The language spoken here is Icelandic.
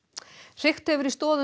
hrikt hefur í stoðum